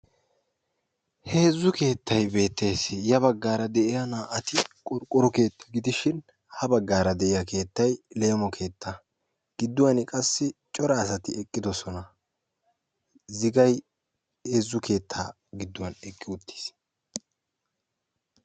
heezzu keettay beettees; ya baggara de'iyaa na"ati qorqqoro keetta gidishin ha baggara de'iya keettay leemo keetta gidduwan qassi cora asati eqqidoosona; zigay heezzu keetta gidduwan eqqi uttiis.